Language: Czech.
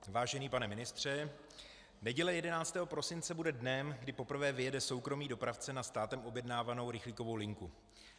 Vážený pane ministře, neděle 11. prosince bude dnem, kdy poprvé vyjede soukromý dopravce na státem objednávanou rychlíkovou linku.